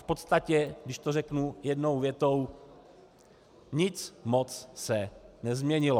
V podstatě, když to řeknu jednou větou, nic moc se nezměnilo.